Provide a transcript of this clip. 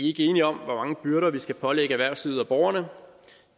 ikke enige om hvor mange byrder vi skal pålægge erhvervslivet og borgerne